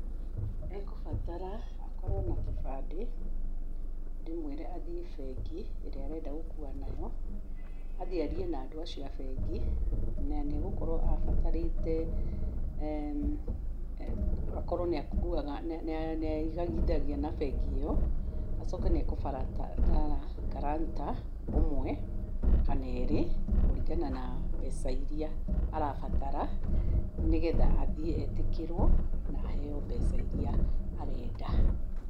ĩkũbatara akorwo na kĩbandĩ, ndĩmwĩre athiĩ bengi, ĩrĩa arenda gũkua nayo, athiĩ arie na andũ acio a bengi, na nĩ agũkorwo abatarĩte akorwo nĩ akuaga, nĩ aigagithia na bengi ĩyo, acoke nĩ agũbatara gurantor ũmwe kana erĩ, kũringana na mbeca iria arabatara, nĩgetha athiĩ etĩkĩrwo na aheo mbeca iria arenda.